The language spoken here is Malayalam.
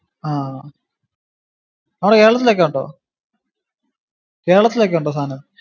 ആഹ് നമ്മുടെ കേരളത്തിലൊക്കെ ഇണ്ടോ കേരളത്തിലൊക്കെ ഇണ്ടോ സാധനം?